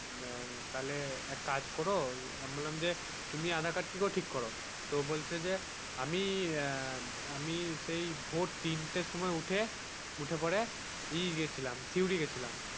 আহ তাহলে এক কাজ করো আমি বললাম যে তুমি আধার কার্ড কি করে ঠিক করো তো বলছে যে আমি আহ আমি সেই ভোর তিনটে সময় উঠে, উঠে পরে ইয়ে গেছিলাম সিউড়ি গেছিলাম।